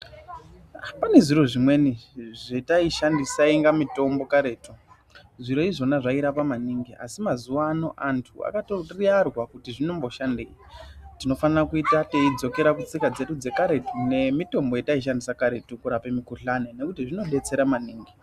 Pane zviro zvimweni zvataishandisa zvainga mitombo karetu zviro izvona zvarapa maningi a mazuvano antu akatoriyarwa kuti zvinoshandei tinofana kuita tichidzoka kutsika dzedu dzekare nemitombo yataishandisa kare kurape mikuhlani nekuti zvinobetsera maningi .